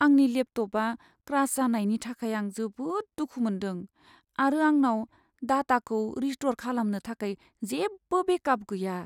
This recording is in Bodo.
आंनि लेपटपआ क्रास जानायनि थाखाय आं जोबोद दुखु मोनदों, आरो आंनाव डाटाखौ रिस्टौर खालामनो थाखाय जेबो बेकआप गैया।